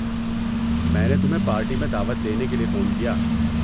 میں نے تمہیں پارٹی میں دعوت دینے کے لیے فون کیا۔